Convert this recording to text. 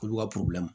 Olu ka